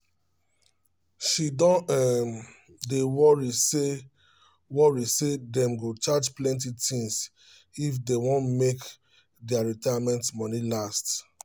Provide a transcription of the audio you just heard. she don um dey worry say worry say them go change plenty things um if they want make um their retirement money last